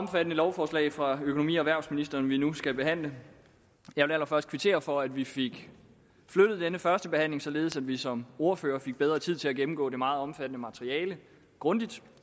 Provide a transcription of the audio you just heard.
omfattende lovforslag fra økonomi og erhvervsministeren vi nu skal behandle jeg vil allerførst kvittere for at vi fik flyttet denne førstebehandling således at vi som ordførere fik bedre tid til at gennemgå det meget omfattende materiale grundigt